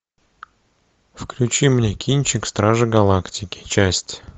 включи мне кинчик стражи галактики часть